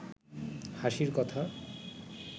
হাসির কথা